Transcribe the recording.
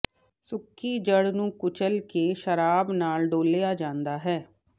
ਸੁੱਕੀ ਜੜ੍ਹ ਨੂੰ ਕੁਚਲ ਕੇ ਸ਼ਰਾਬ ਨਾਲ ਡੋਲ੍ਹਿਆ ਜਾਂਦਾ ਹੈ